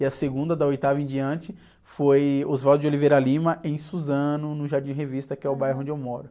E a segunda, da oitava em diante, foi Oswaldo de Oliveira Lima em Suzano, no Jardim Revista, que é o bairro onde eu moro.